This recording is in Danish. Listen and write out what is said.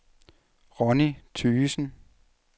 Ronni Thygesen